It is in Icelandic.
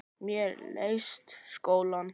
Mér leiðist skóli.